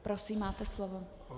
Prosím, máte slovo.